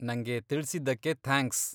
ನಂಗೆ ತಿಳ್ಸಿದ್ದಕ್ಕೆ ಥ್ಯಾಂಕ್ಸ್.